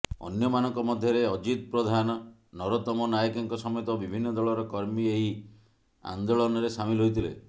ଅନ୍ୟମାନଙ୍କ ମଧ୍ୟରେ ଅଜିତ ପ୍ରଧାନ ନରୋତମ ନାଏକଙ୍କ ସମେତ ବିଭିନ୍ନ ଦଳର କର୍ମୀ ଏହି ଆନେ୍ଦାଳନରେ ସାମିଲ ହୋଇଥିଲେ